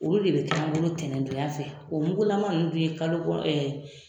Olu de be caman bolo ntɛnɛn don ya nunnu fɛ. O mugulaman nunnu dun ye kalo